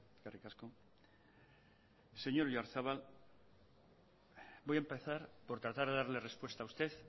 eskerrik asko señor oyarzabal voy a empezar por tratar de darle respuesta a usted